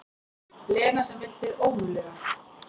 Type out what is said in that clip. Lena sem vill hið ómögulega.